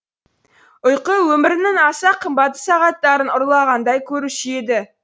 ұйқы өмірінің аса қымбатты сағаттарын ұрлағандай көруші еді